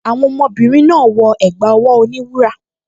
Àwọn ọmọbìnrin náà wọ ẹ̀gbá ọwọ́ oníwúrà